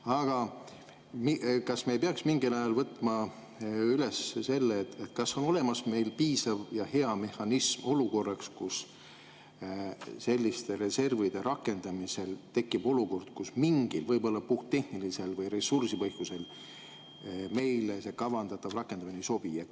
Aga kas me ei peaks mingil ajal võtma üles selle, et kas on olemas piisav ja hea mehhanism juhuks, kui selliste reservide rakendamisel tekib olukord, kus mingil võib-olla puhttehnilisel või ressursipõhjusel meile see kavandatav rakendamine ei sobi?